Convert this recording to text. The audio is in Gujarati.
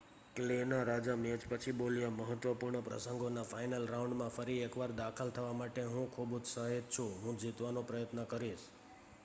"ક્લે ના રાજા મેચ પછી બોલ્યા "મહત્વપૂર્ણ પ્રસંગોના ફાઇનલ રાઉન્ડમાં ફરી એક વાર દાખલ થવા માટે હું ખુબ ઉત્સાહિત છુ હું જીતવાનો પ્રયત્ન કરીશ.